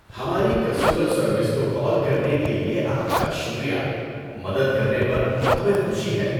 ہماری customer service کو call کرنے کے لیے آپ کا شکریہ۔ مدد کرنے پر ہمیں خوشی ہے۔